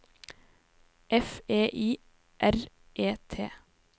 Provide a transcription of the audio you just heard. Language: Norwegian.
F E I R E T